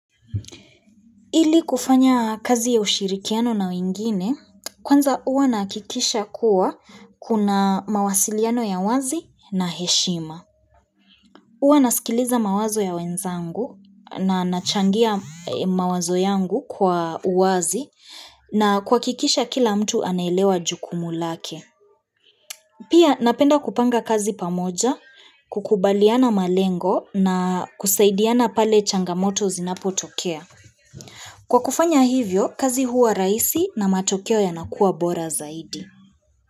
Ili kufanya kazi ya ushirikiano na wengine, kwanza huwa nahakikisha kuwa kuna mawasiliano ya wazi na heshima. Huwa nasikiliza mawazo ya wenzangu na nachangia mawazo yangu kwa uwazi na kuhakikisha kila mtu anaelewa jukumu lake. Pia napenda kupanga kazi pamoja, kukubaliana malengo na kusaidiana pale changamoto zinapotokea. Kwa kufanya hivyo, kazi huwa rahisi na matokeo yanakuwa bora zaidi.